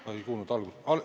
Ma ei kuulnud algust.